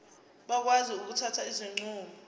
bakwazi ukuthatha izinqumo